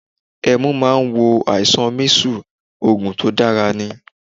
Ẹmu máa ń wo àìsàn mísù, Ògùn tó dára ní.